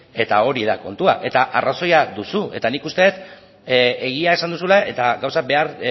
eta hori da kontua eta arrazoia duzu eta nik uste dut egia esan duzula eta gauzak behar